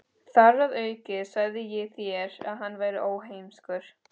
Þar að auki sagði ég þér, að hann væri óheimskur.